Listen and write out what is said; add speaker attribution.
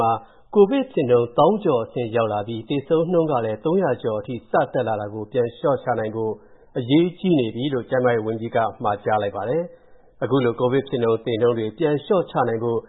Speaker 1: မှာ ကိုဗစ်ဖြစ်နှုန်း သောင်းကျော်အဆင့်ရောက်ရှိလာပြီး၊ သေဆုံးနှုန်းလည်း သုံးရာကျော်အထိ ရှိလာတာကို၊ ပြန်လျှော့ချနိုင်ဖို့ အရေးကြီးနေပြီလို့ ကျန်းမာရေးဝန်ကြီးက မှာကြားပြောဆိုပါတယ်။ တဟုန်းထိုးမြင့်မားလာတဲ့ ကိုဗစ် ဖြစ်နှုန်း လျှော့ချနိုင်ဖို့